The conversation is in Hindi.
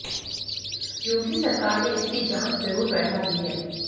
योगी सरकार ने इसकी जांच जरूर बैठा दी है